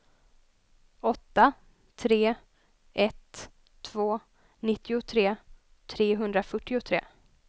åtta tre ett två nittiotre trehundrafyrtiotre